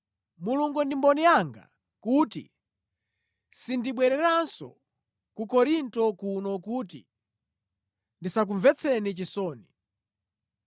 Mulungu ndi mboni yanga kuti sindinabwererenso ku Korinto kuno kuti ndisakumvetseni chisoni.